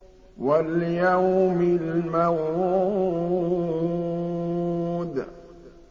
وَالْيَوْمِ الْمَوْعُودِ